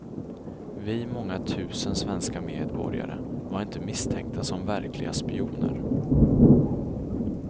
Vi många tusen svenska medborgare var inte misstänkta som verkliga spioner.